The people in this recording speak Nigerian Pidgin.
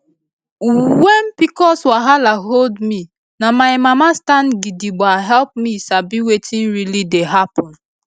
when pcos wahala hold me na my mama stand gidigba help me sabi wetin really dey happen